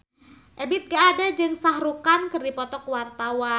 Ebith G. Ade jeung Shah Rukh Khan keur dipoto ku wartawan